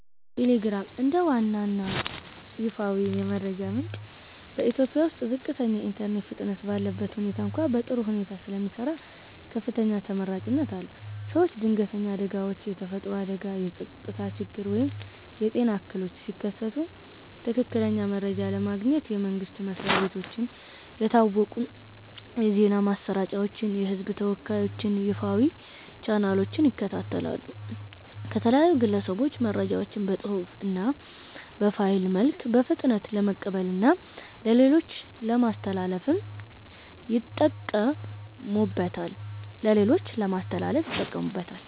ቴሌግራም፦ እንደ ዋና እና ይፋዊ የመረጃ ምንጭ በኢትዮጵያ ውስጥ ዝቅተኛ የኢንተርኔት ፍጥነት ባለበት ሁኔታ እንኳ በጥሩ ሁኔታ ስለሚሰራ ከፍተኛ ተመራጭነት አለው። ሰዎች ድንገተኛ አደጋዎች (የተፈጥሮ አደጋ፣ የጸጥታ ችግር ወይም የጤና እክሎች) ሲከሰቱ ትክክለኛ መረጃ ለማግኘት የመንግስት መስሪያ ቤቶችን፣ የታወቁ የዜና ማሰራጫዎችን እና የህዝብ ተወካዮችን ይፋዊ ቻናሎች ይከታተላሉ። ከተለያዩ ግለሰቦች መረጃዎችን በፅሁፍ እና በፋይል መልክ በፍጥነት ለመቀበልና ለሌሎች ለማስተላለፍ ይጠቀሙበታል።